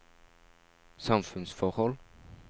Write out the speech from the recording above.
samfunnsforhold